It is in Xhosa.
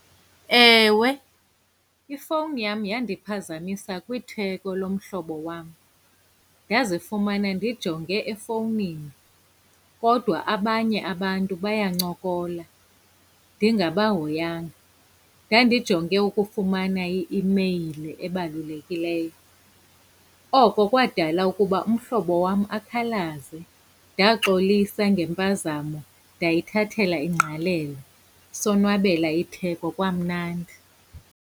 Ewe, ifowuni yam yandiphazamisa kwitheko lomhlobo wam. Ndazifumana ndijonge efowunini, kodwa abanye abantu bayancokola ndingabahoyanga. Ndandijonge ukufumana i-imeyili ebalulekileyo. Oko kwadala ukuba umhlobo wam akhalaze. Ndaxolisa ngempazamo, ndayithathela ingqalelo, sonwabela itheko kwamnandi.